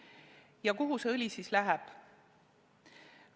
Ja kuhu see õli siis läheb?